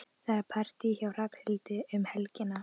Það er partí hjá Hrafnhildi um helgina.